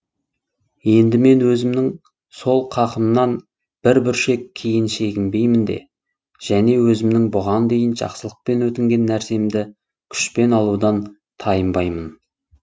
енді мен өзімнің сол қақымнан бір бүршек кейін шегінбеймін де және өзімнің бұған дейін жақсылықпен өтінген нәрсемді күшпен алудан тайынбаймын